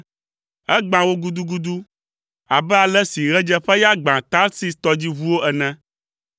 Egbã wo gudugudu abe ale si ɣedzeƒeya gbã Tarsis tɔdziʋuwo ene.